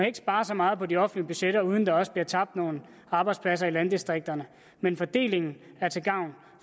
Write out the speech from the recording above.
ikke spare så meget på de offentlige budgetter uden at der også bliver tabt nogle arbejdspladser i landdistrikterne men fordelingen er til gavn